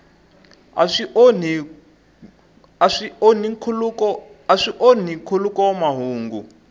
a swi onhi nkhuluk mahungu